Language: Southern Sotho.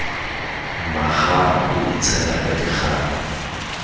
mmakgama a itshela ka dikgapha